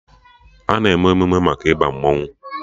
A na-eme emụme maka Ịba mmanwụ